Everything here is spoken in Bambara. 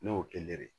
Ne y'o de